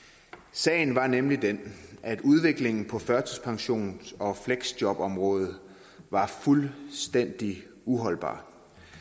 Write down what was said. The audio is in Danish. sagen var nemlig den at udviklingen på førtidspensions og fleksjobområdet var fuldstændig uholdbar